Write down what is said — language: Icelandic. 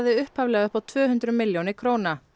upphaflega upp á tvö hundruð milljónir króna